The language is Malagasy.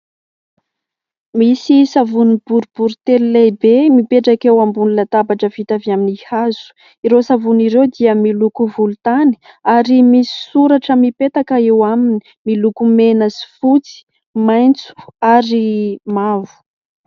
Misy savony boribory telo lehibe mipetraka eo ambonin'ny latabatra vita avy amin'ny hazo. Ireo savony ireo dia miloko volontany ary misy soratra mipetaka eo aminy miloko mena sy fotsy, maitso ary mavo.